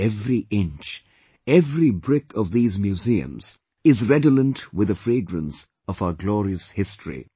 Every inch, every brick of these museums is redolent with the fragrance of our glorious history